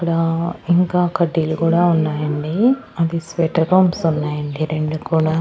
ఇక్కడా ఇంకా కడ్డీలు కూడా ఉన్నాయండి అది స్వెటర్ ఉన్నాయండి రెండు కూడా.